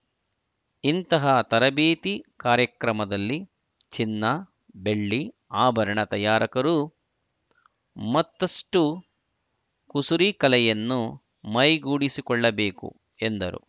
ಇಂತಹ ತರಬೇತಿ ಕಾರ್ಯಕ್ರಮದಲ್ಲಿ ಚಿನ್ನಬೆಳ್ಳಿ ಆಭರಣ ತಯಾರಕರು ಮತ್ತಷ್ಟುಕುಸರಿ ಕಲೆಯನ್ನು ಮೈಗೂಡಿಸಿಕೊಳ್ಳಬೇಕು ಎಂದರು